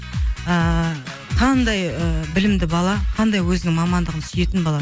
ыыы қандай ы білімді бала қандай өзінің мамандығын сүйетін бала